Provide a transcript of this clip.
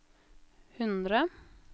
hundre